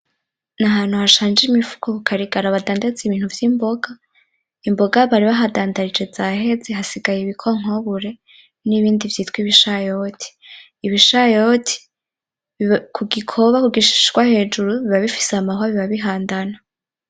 N'ahantu hashanje imifuko kukarigara badandaza ibintu vy'imboga, imboga bari bahadandarije zaheze hasigaye ibikonkobure n'ibindi vyitwa ibishayoti , ibishayoti kugikoba kugishishwa hejuru biba bifise amahwa biba bihandana.